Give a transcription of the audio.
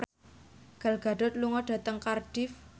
Gal Gadot lunga dhateng Cardiff